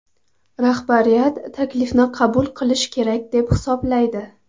Rahbariyat taklifni qabul qilish kerak deb hisoblaydi.